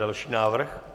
Další návrh?